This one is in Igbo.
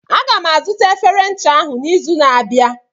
Aga m azụta efere ncha ahụ n'izu na-abịa.